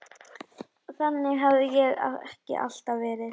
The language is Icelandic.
Þannig hafði það ekki alltaf verið.